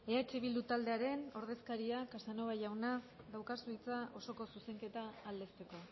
eh bildu taldearen ordezkaria casanova jauna daukazu hitza osoko zuzenketa aldezteko